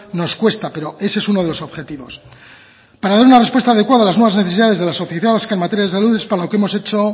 nos cuesta pero ese es uno de los objetivos para dar una respuesta adecuada a las nuevas necesidades de la sociedad vasca en materia de salud es para lo que hemos hecho